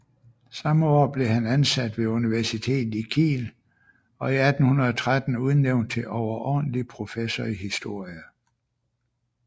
Samme år blev han ansat ved universitetet i Kiel og 1813 udnævnt til overordentlig professor i historie